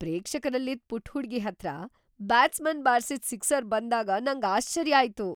ಪ್ರೇಕ್ಷಕರಲ್ಲಿದ್ ಪುಟ್ಟ ಹುಡುಗಿ ಹತ್ರ ಬ್ಯಾಟ್ಸ್ಮನ್ ಬಾರ್ಸಿದ್ ಸಿಕ್ಸರ್ ಬಂದಾಗ್ ನಂಗ್ ಆಶ್ಚರ್ಯ ಆಯ್ತು.